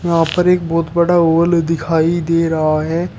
यहाँ पर एक बहुत बड़ा हॉल दिखाई दे रहा है।